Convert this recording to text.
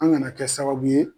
An gana kɛ sababu ye